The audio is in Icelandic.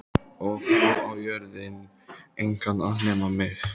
Og nú á jörðin engan að nema mig.